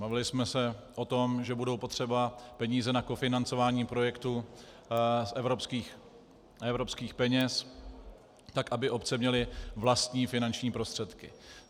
Bavili jsme se o tom, že budou potřeba peníze na kofinancování projektů z evropských peněz tak, aby obce měly vlastní finanční prostředky.